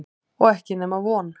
Og ekki nema von.